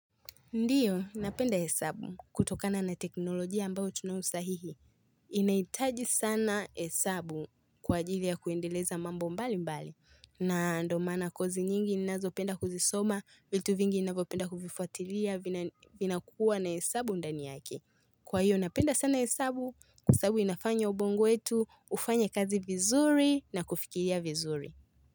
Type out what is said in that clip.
Ndiyo, napenda hesabu kutokana na teknolojia ambao tunawo sahihi. Inaitaji sana hesabu kwa ajili ya kuendeleza mambo mbali mbali. Na ndo maana kozi nyingi ninazo penda kuzisoma, vitu vingi ninavopenda kufifuatilia vinakuwa na hesabu ndani yake. Kwa hiyo napenda sana hesabu, hesabu inafanya ubongo wetu, ufanye kazi vizuri na kufikiria vizuri.